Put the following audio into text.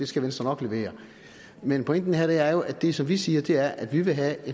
skal venstre nok levere men pointen her er jo at det som vi siger er at vi vil have